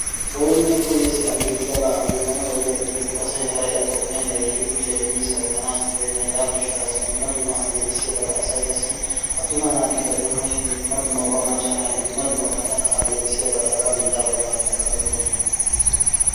Ooninne kooyees aleeqidabaa aleeqqana xayiyaaba gidikko asay haray atto ogiyan gayttidi kushiya immidi sarotanassi koyena hegaa gishshaassi dumma dumma aleeqissiyabata asay qassi attuma naatikka doonashin dumma dumma macca naati bantta aleeqissiyaba hagaa bittaa bollan xaqamettossona.